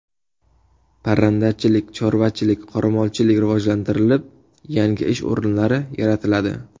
Parrandachilik, chorvachilik, qoramolchilik rivojlantirilib, yangi ish o‘rinlari yaratiladi.